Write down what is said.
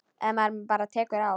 Ef maður bara tekur á.